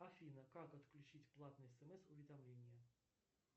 афина как отключить платные смс уведомления